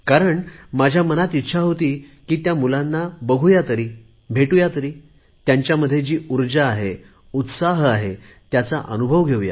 कारण माझ्या मनात इच्छा होती की त्या मुलांना बघू तरी भेटू तरी त्यांच्यामध्ये जी ऊर्जा आहे उत्साह आहे त्याचा अनुभव घेऊ